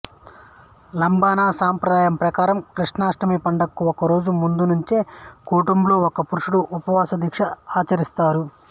లబానా సంప్రదాయం ప్రకారం కృష్ణాష్టమి పండగకు ఒకరోజు ముందునుంచే కుటుంబంలో ఒక పురుషుడు ఉపవాస దీక్ష ఆచరిస్తారు